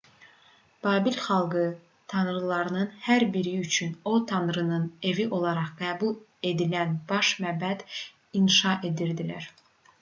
babil xalqı tanrılarının hər biri üçün o tanrının evi olaraq qəbul edilən baş məbəd inşa edirdilər